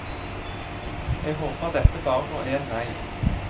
Jeg håper dette bare går én vei.